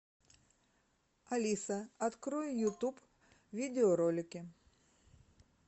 алиса открой ютуб видеоролики